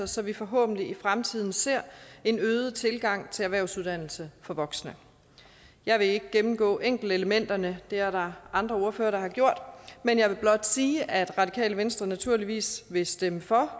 så vi forhåbentlig i fremtiden ser en øget tilgang til erhvervsuddannelse for voksne jeg vil ikke gennemgå enkeltelementerne det er der andre ordførere der har gjort jeg vil blot sige at radikale venstre naturligvis vil stemme for